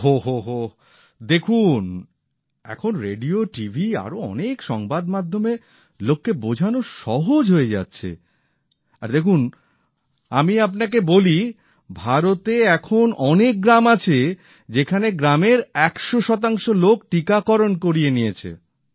ওহ ওহ দেখুন এখন রেডিও টিভি আরও অনেক সংবাদমাধ্যমে লোককে বোঝানো সহজ হয়ে যাচ্ছে আর দেখুন আমি আপনাকে বলি ভারতের এমন অনেক গ্রাম আছে যেখানে গ্রামের ১০০ লোক টীকাকরণ করিয়ে নিয়েছে